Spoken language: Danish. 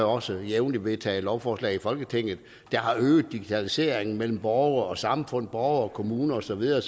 også jævnligt vedtaget lovforslag i folketinget der har øget digitaliseringen mellem borgere og samfund og og kommuner og så videre